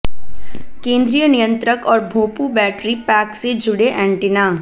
केंद्रीय नियंत्रक और भोंपू बैटरी पैक से जुड़े एंटीना